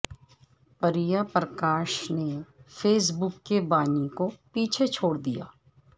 پریہ پرکاش نے Facebook کے بانی کو پیچھے چھوڑدیا